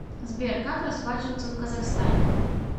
сбер как расплачиваться в казахстане